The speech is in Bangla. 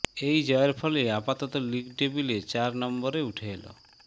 এই জয়ের ফলে আপাতত লিগ টেবলে চার নম্বরে উঠে এল